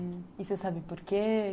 Hum, e você sabe por quê?